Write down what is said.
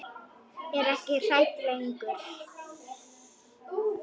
Er ekki hrædd lengur.